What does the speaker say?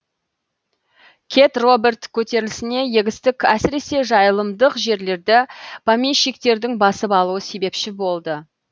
кет роберт көтерілісіне егістік әсіресе жайылымдық жерлерді помещиктердің басып алуы себепші болды